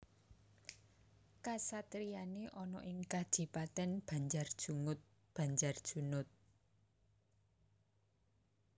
Kasatriyane ana ing Kadipaten Banjarjungut Banjarjunut